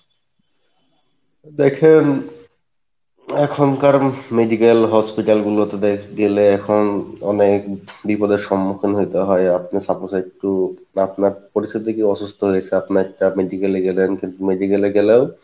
দেখেন এখনকার medical hospital গুলো তে গেলে এখন অনেক বিপদের সমুক্ষীন হয়তে হয় আপনি suppose একটু আপনারা পরিচিত কেউ অসুস্থ হইসে আপনি একটা medical এ গেলেন কিন্তু medical এ গেলেও